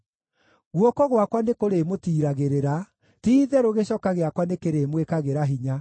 Guoko gwakwa nĩkũrĩmũtiiragĩrĩra; ti-itherũ gĩcoka gĩakwa nĩkĩrĩmwĩkagĩra hinya.